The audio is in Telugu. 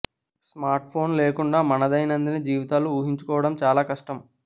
స్మార్ట్ ఫోన్లు లేకుండా మన దైనందిన జీవితాలను ఊహించుకోవడం చాలా కష్టం